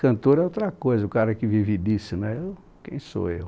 Cantor é outra coisa, o cara que vive disso né eu, quem sou eu?